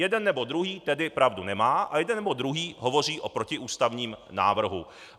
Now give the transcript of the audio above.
Jeden nebo druhý tedy pravdu nemá a jeden nebo druhý hovoří o protiústavním návrhu.